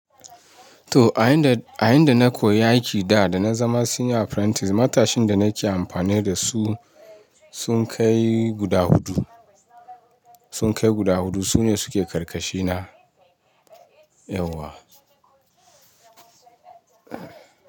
To, a inda, a inda na koyi aiki da da na zama senior apprentice, matashin da nake amfani da su sun kai guda hudu, sun kai guda hudu. Su ne suke ƙarƙashina. Yauwa.